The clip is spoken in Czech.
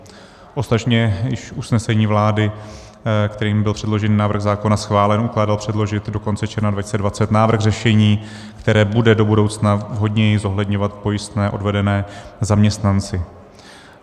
Ostatně již usnesení vlády, kterým byl předložený návrh zákona schválen, ukládalo předložit do konce června 2020 návrh řešení, které bude do budoucna vhodněji zohledňovat pojistné odvedené zaměstnanci.